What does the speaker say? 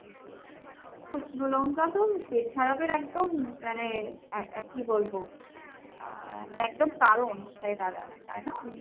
শুকনো লঙ্কা তো মানে পেট খারাপের একদম মানে আ~ আর কী বলবো ? আহ মানে একদম কারণ হয়ে দাঁড়ায় তাই না ?